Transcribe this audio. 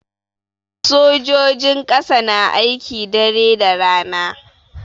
Sojojin ƙasa na aiki dare da rana.